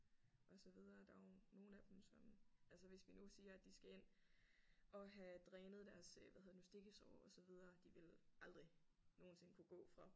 Og så videre der er jo nogle af dem som altså hvis vi nu siger at de skal ind og have drænet deres øh hvad hedder det nu stikkesår og så videre de ville aldrig nogensinde kunne gå fra